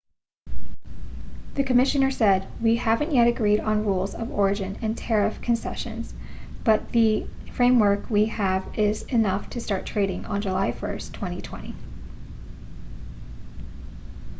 the commissioner said we haven't yet agreed on rules of origin and tariff con[c]essions but the framework we have is enough to start trading on july 1 2020